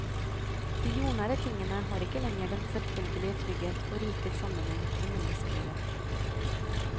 De jordnære tingene har ikke lenger den selvfølgelige trygghet og rike samme nheng med menneskelivet.